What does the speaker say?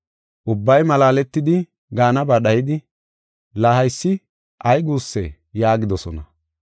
Ubbay malaaletidi, gaanaba dhayidi, “La haysi ay guussee?” yaagidosona.